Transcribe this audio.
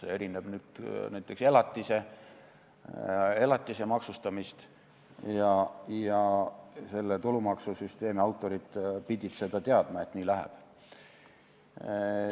See erineb elatise maksustamisest ja tulumaksusüsteemi autorid pidid teadma, et nii läheb.